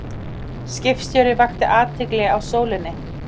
Skiptastjóri vakti athygli á Sólinni